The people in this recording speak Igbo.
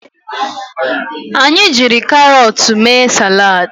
Anyị jiri carọọtụ mee salad